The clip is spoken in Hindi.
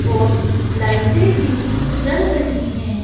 और लाइटें भी जल रही हैं।